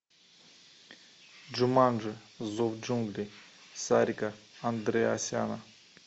джуманджи зов джунглей сарика андреасяна